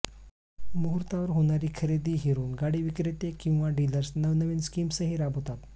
मुहूर्तावर होणारी खरेदी हेरून गाडी विक्रेते किंवा डिलर्स नवनवीन स्कीम्सही राबवतात